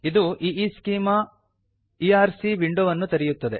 ಇದು ಈಸ್ಚೆಮಾ ಇಆರ್ಸಿ ಈಈಸ್ಕೀಮಾ ಇಅರ್ ಸಿ ಎಂಬ ವಿಂಡೋವನ್ನು ತೆರೆಯುತ್ತದೆ